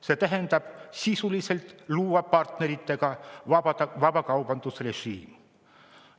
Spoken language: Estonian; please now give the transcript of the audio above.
See tähendab sisuliselt partneritega vabakaubandusrežiimi loomist.